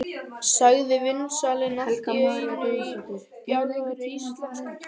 sagði vínsalinn allt í einu á bjagaðri íslensku.